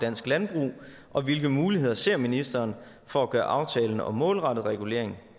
dansk landbrug og hvilke muligheder ser ministeren for at gøre aftalen om målrettet regulering